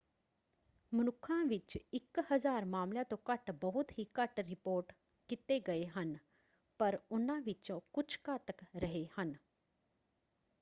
ਮਨੁੱਖਾਂ ਵਿੱਚ ਇਕ ਹਜ਼ਾਰ ਮਾਮਲਿਆਂ ਤੋਂ ਘੱਟ ਬਹੁਤ ਹੀ ਘੱਟ ਰਿਪੋਰਟ ਕੀਤੇ ਗਏ ਹਨ ਪਰ ਉਹਨਾਂ ਵਿਚੋਂ ਕੁਝ ਘਾਤਕ ਰਹੇ ਹਨ।